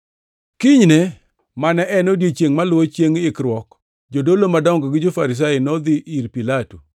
Kinyne, mane en odiechiengʼ maluwo Chiengʼ Ikruok, jodolo madongo gi jo-Farisai nodhi ir Pilato.